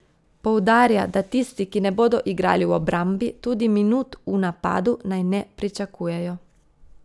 Poudarja, da tisti, ki ne bodo igrali v obrambi, tudi minut v napadu naj ne pričakujejo.